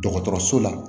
Dɔgɔtɔrɔso la